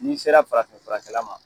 N'i sera farafin furakɛla ma